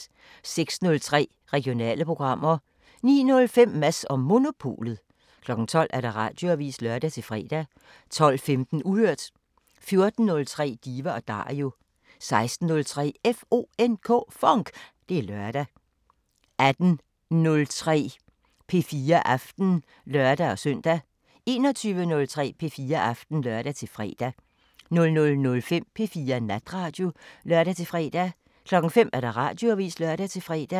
06:03: Regionale programmer 09:05: Mads & Monopolet 12:00: Radioavisen (lør-fre) 12:15: Uhørt 14:03: Diva & Dario 16:03: FONK! Det er lørdag 18:03: P4 Aften (lør-søn) 21:03: P4 Aften (lør-fre) 00:05: P4 Natradio (lør-fre) 05:00: Radioavisen (lør-fre)